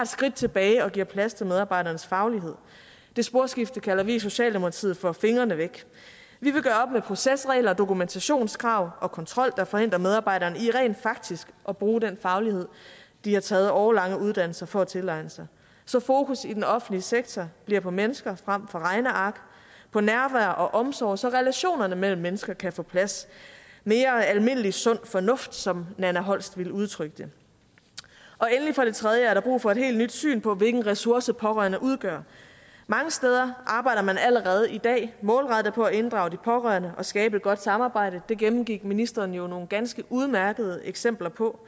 skridt tilbage og giver plads til medarbejdernes faglighed det sporskifte kalder vi i socialdemokratiet for fingrene væk vi vil gøre op med procesregler og dokumentationskrav og kontrol der forhindrer medarbejderne i rent faktisk at bruge den faglighed de har taget årelange uddannelser for at tilegne sig så fokus i den offentlige sektor bliver på mennesker frem for på regneark på nærvær og omsorg så relationerne mellem mennesker kan få plads mere almindelig sund fornuft som nanna holst ville udtrykke det og endelig for det tredje er der brug for et helt nyt syn på hvilken ressource pårørende udgør mange steder arbejder man allerede i dag målrettet på at inddrage de pårørende og skabe et godt samarbejde det gennemgik ministeren jo nogle ganske udmærkede eksempler på